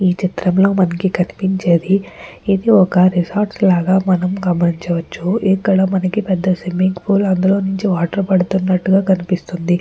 ఈ చిత్రంలో మనకి కనిపించేది ఒక రిసార్ట్స్ లాగా మనం గమనించవచ్చు. ఇక్కడ పెద్ద స్విమ్మింగ్ పోల్ అందులో నుంచి వాటర్ పడుతున్నట్టు గ కనపడుతుంది.